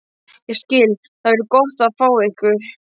Ég skil- Það verður gott að fá ykkur.